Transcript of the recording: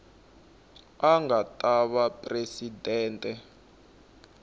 a nga ta va presidente